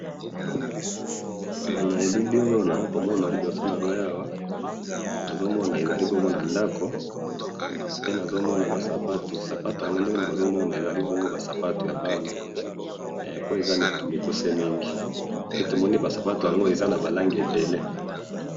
Na elili oyo naza komona liboso na ngai awa ,nazo mona ezali bongo na ndako pe nazo mona ba sapato ,sapato yango ndenge nazo mona ezali bongo ba sapato ya bana pe eza mikuse mingi pe tomoni ba sapato yango eza na ba langi ebele